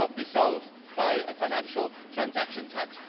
It will not be solved by a financial transaction tax.